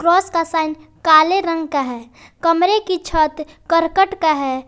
Cross का sign काले रंग का है कमरे की छत करकट का है।